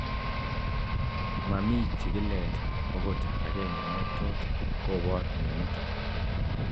mami chigilet ogot agenge ne tot kobor mianiton